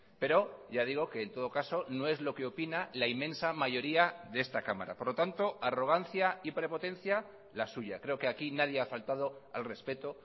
pero ya digo que en todo caso no es lo que opina la inmensa mayoría de esta cámara por lo tanto arrogancia y prepotencia la suya creo que aquí nadie ha faltado al respeto